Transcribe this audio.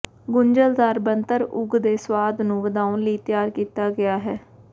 ਗੁੰਝਲਦਾਰ ਬਣਤਰ ਉਗ ਦੇ ਸੁਆਦ ਨੂੰ ਵਧਾਉਣ ਲਈ ਤਿਆਰ ਕੀਤਾ ਗਿਆ ਹੈ